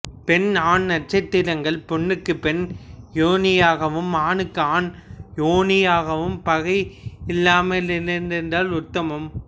பெண் ஆண் நட்சத்திரங்கள் பெண்ணுக்குப் பெண் யோனியாகவும் ஆணுக்கு ஆண் யோனியாகவும் பகையில்லாமலிருந்தால் உத்தமம்